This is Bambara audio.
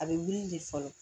A bɛ wuli de fɔlɔ